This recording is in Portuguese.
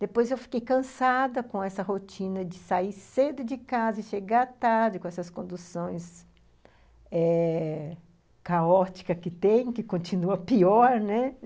Depois eu fiquei cansada com essa rotina de sair cedo de casa e chegar tarde com essas conduções eh... caóticas que tem, que continua pior, né?